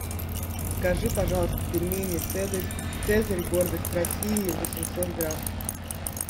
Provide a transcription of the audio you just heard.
закажи пожалуйста пельмени цезарь гордость россии восемьсот грамм